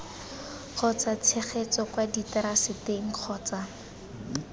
kgotsa tshegetso kwa diteraseteng kgotsa